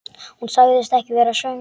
Hún sagðist ekki vera svöng.